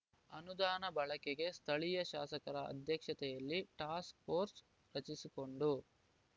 ಅನುದಾನ ಬಳಕೆಗೆ ಸ್ಥಳೀಯ ಶಾಸಕರ ಅಧ್ಯಕ್ಷತೆಯಲ್ಲಿ ಟಾಸ್ಕ್‌ಫೋರ್ಸ್‌ ರಚಿಸಿಕೊಂಡು